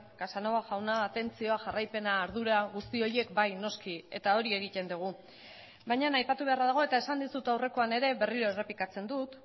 casanova jauna atentzioa jarraipena ardura guzti horiek bai noski eta hori egiten dugu baina aipatu beharra dago eta esan dizut aurrekoan ere berriro errepikatzen dut